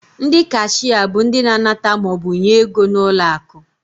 Ndị kashịa bụ ndị na-anata maọbụ nye ego n'ụlọakụ.